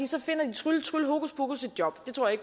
så finder de trylle trylle hokuspokus et job det tror jeg